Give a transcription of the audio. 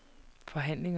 forhandlingerne